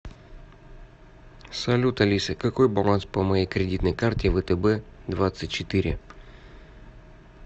салют алиса какой баланс по моей кредитной карте втб двадцать четыре